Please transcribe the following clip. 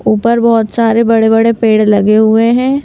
ऊपर बहोत सारे बड़े बड़े पेड़ लगे हुए हैं।